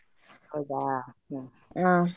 ಹೌದಾ ಹ್ಮ್‌.